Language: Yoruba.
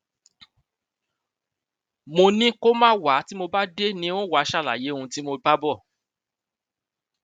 mo ní kó má wá tí mo bá dé ni ó wáá ṣàlàyé ohun tí mo bá bá bọ